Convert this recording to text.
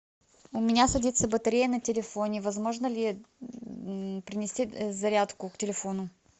у меня садится батарея на телефоне возможно ли принести зарядку к телефону